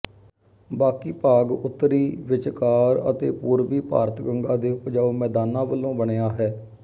ਬਾਕੀ ਭਾਗ ਉੱਤਰੀ ਵਿਚਕਾਰ ਅਤੇ ਪੂਰਵੀ ਭਾਰਤ ਗੰਗਾ ਦੇ ਉਪਜਾਊ ਮੈਦਾਨਾਂ ਵਲੋਂ ਬਣਿਆ ਹੈ